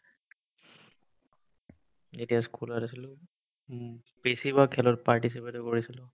যেতিয়া school ত আছিলো বেছিভাগ খেলত participate ও কৰিছিলো